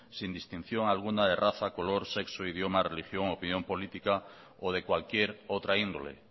sin distinción alguna de raza color sexo idioma religión opinión política o de cualquier otra índole